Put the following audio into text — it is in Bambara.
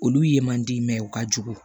Olu ye man di u ka jugu